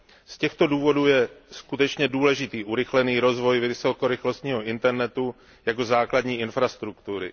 Z těchto důvodů je skutečně důležitý urychlený rozvoj vysokorychlostního Internetu jako základní infrastruktury.